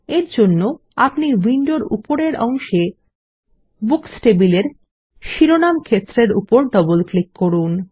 এর জন্য আপনি উইন্ডোর উপরের অংশে বুকস টেবিলের শিরোনাম ক্ষেত্রের উপর ডবল ক্লিক করুন